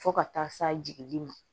Fo ka taa se jigi ma